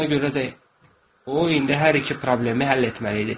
Ona görə də o indi hər iki problemi həll etməli idi.